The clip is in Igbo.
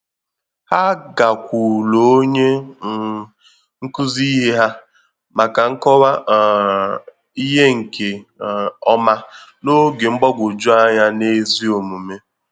Hà gakwuru ònye um nkụzi ihe hà maka nkọwa um ihe nke um ọma n’oge mgbagwoju anya n’ezi omume.